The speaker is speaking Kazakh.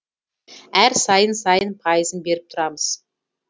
әр сайын сайын пайызын беріп тұрамыз